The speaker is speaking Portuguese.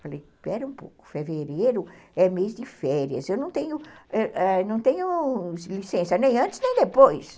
Falei, espera um pouco, fevereiro é mês de férias, eu não tenho não tenho licença nem antes nem depois.